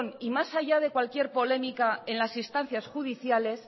y más allá de cualquier polémica en las instancias judiciales